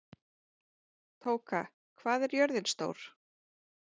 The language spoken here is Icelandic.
Tóka, hvað er jörðin stór?